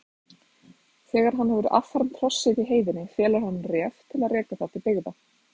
Þegar hann hefur affermt hrossið í heiðinni felur hann Ref að reka það til byggða.